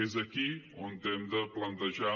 és aquí on hem de plantejar